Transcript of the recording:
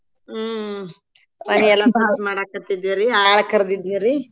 ಹ್ಮ್ ಮಾಡಾಕ್ಹತ್ತಿದ್ವಿರಿ ಆಳ್ ಕರ್ದಿದ್ವಿರಿ.